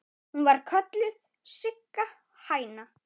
Hún var kölluð Sigga hæna.